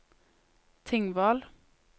Tingvoll